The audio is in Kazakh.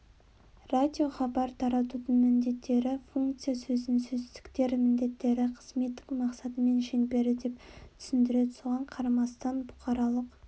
радиохабар таратудың міндеттері функция сөзін сөздіктер міндеттері қызметтік мақсаты мен шеңбері деп түсіндіреді соған қарамастан бұқаралық